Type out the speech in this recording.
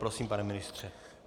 Prosím, pane ministře.